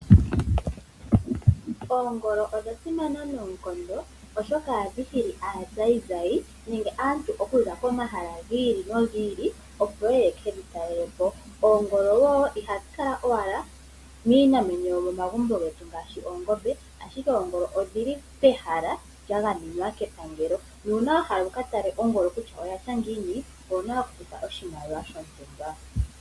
Ongolo odha simana noonkondo oshoka ohadhi hili aazayizayi nenge aantu ya za komahala gi ili nogi ili opo yekedhi ta lele po. Oongolo wo ihadhi kala miinamwenyo yetu yomomagumbo ngaaashi oongombe ashike oongolo odhi li pehala lya gamenwa kepangelo nuuna wa hala okukala kutya ongolo ya tya ngiini owu na okufuta oshimaliwa shontumba.